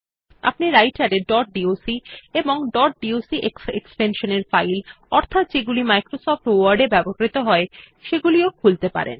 আপনি রাইটের এ ডট ডক এবং ডট ডক্স এক্সটেনশন এর ফাইল অর্থাৎ যেগুলি মাইক্রোসফট ওয়ার্ড এ ব্যবহৃত হয় সেগুলিও খুলতে পারেন